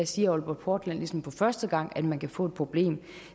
siger aalborg portland ligesom for første gang at man kan få et problem